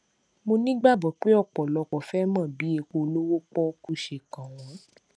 mo nígbàgbọ pé ọpọlọpọ fẹ mọ bí epo olówó pọkú ṣe kàn wọn